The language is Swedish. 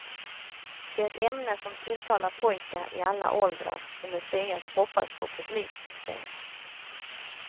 Det är ett ämne som tilltalar pojkar i alla åldrar, och museet hoppas på publiksuccé.